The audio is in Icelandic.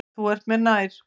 Þú ert mér nær.